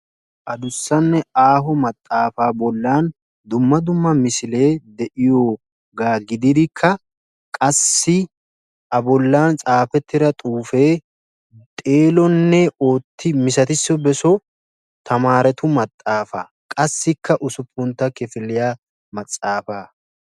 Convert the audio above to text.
Adussanne aaho maxaafaa bollan dumma dumma misilee de'iyoogaa gididikka qassi a bollan tsaafettida xuufee xeelonne ooti misatisso beso tamaretu maxaafaa qassikka usupuntta kifiliya matsaafaa